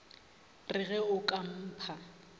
re ge o ka mpha